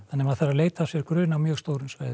maður þarf að leita af sér grun á mjög stórum svæðum